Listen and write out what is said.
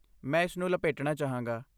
ਮੈਂ ਇਸਨੂੰ ਲਪੇਟਣਾ ਚਾਹਾਂਗਾ।